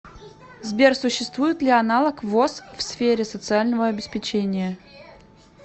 сбер существует ли аналог воз в сфере социального обеспечения